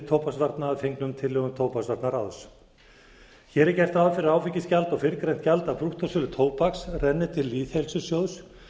tóbaksvarna að fengnum tillögum tóbaksvarnaráðs hér er gert ráð fyrir að áfengisgjald og fyrrgreint gjald af brúttósölu tóbaks renni til lýðheilsusjóðs